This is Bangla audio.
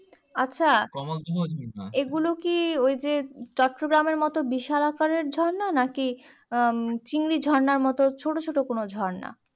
আচ্ছা এগুলো কি ওই যে চট্টগ্রামের মতো বিশাল আকারের ঝর্ণা নাকি আহ চিংড়ি ঝর্ণার মতো ছোটো ছোটো কোনো ঝর্ণা